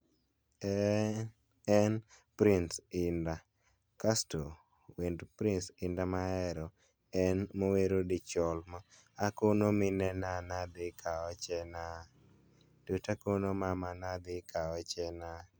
En Prince Indak kasto wend Prince Indah mahero en mowero 'Dichol' ma 'Akono minena nadhi kaochena, nikech akono mama nadhi kaochena'.